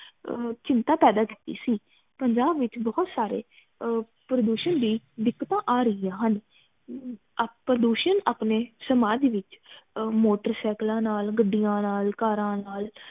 ਅਰ ਚਿੰਤਾ ਕਾਰਕ ਸੀ ਪੰਜਾਬ ਵਿਚ ਬਹੁਤ ਸਾਰੀ ਪ੍ਰਦੂਸ਼ਣ ਲਈ ਦਿੱਕਤਾਂ ਆ ਰਹੀ ਹਨ ਪ੍ਰਦੂਸ਼ਣ ਅਪਣੇ ਸਮਾਜ ਵਿਚ ਮੋਟਰ ਸਾਈਕਲਾਂ ਨਾਲ ਗੱਡੀਆਂ ਨਾਲ ਕਾਰਾਂ ਨਾਲ